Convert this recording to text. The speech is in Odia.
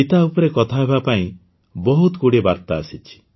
ଚିତା ଉପରେ କଥା ହେବା ପାଇଁ ବହୁତ ଗୁଡ଼ିଏ ଆସିଛି